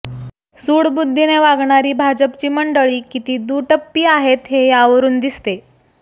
सुडबुद्धीने वागणारी भाजपची मंडळी किती दुटप्पी आहेत हे यावरून दिसते